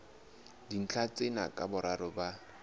dintlha tsena ka boraro ba